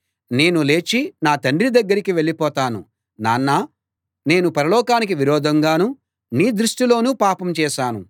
నేను లేచి నా తండ్రి దగ్గరికి వెళ్ళిపోతాను నాన్నా నేను పరలోకానికి విరోధంగానూ నీ దృష్టిలోనూ పాపం చేశాను